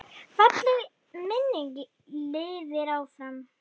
Falleg minning lifir áfram.